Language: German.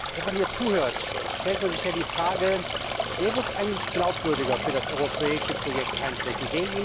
Wenn man hier zuhört, stellt man sich die Frage Wer wird eigentlich glaubwürdiger für das europäische Projekt eintreten?